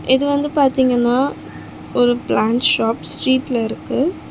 இது வந்து பாத்தீங்கனா ஒரு பிளான்ட் ஷாப் ஸ்ட்ரீட்ல இருக்கு.